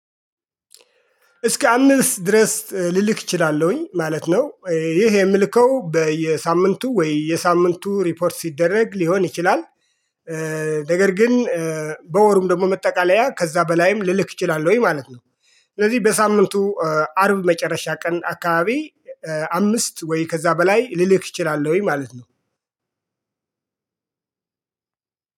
እስከ አምስት ድረስ ልልክ እችላለሁኝ ማለት ነው ይህ የምልከው በየሳምንቱ ወይ የሳምንቱ ሪፖርት ሲደረግ ሊሆን ይችላል። ነገር ግን በወሩም ደግሞ መጠቃለያ ከዛ በላይም ልልክ እችላለሁኝ ማለት ነው። ስለዚህ በሳምንቱ አርብ መጨረሻ ቀን አካባቢ አምስት ወይ ከዛ በላይ ልልክ እችላለሁኝ ማለት ነው።